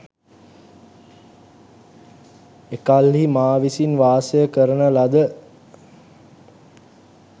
එකල්හි මා විසින් වාසය කරන ලද